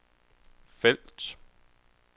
felt